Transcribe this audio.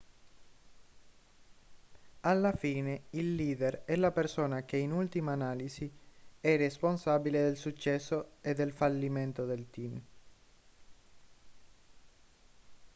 alla fine il leader è la persona che in ultima analisi è responsabile del successo e del fallimento del team